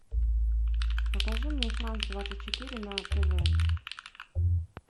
покажи мне франс двадцать четыре на тв